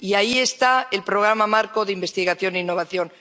Y ahí está el Programa Marco de Investigación e Innovación.